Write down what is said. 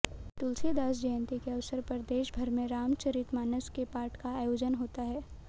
तुलसीदास जयंती के अवसर पर देशभर में रामचरितमानस के पाठ का आयोजन होता है